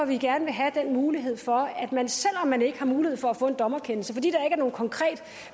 vi gerne vil have den mulighed for at man selv om man ikke har mulighed for at få en dommerkendelse fordi